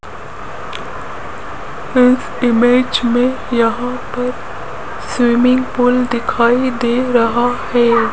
इस इमेज में यहां पर स्विमिंग पूल दिखाई दे रहा है।